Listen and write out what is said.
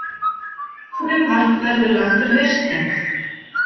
Frumvarp verður lagt fyrir haustþing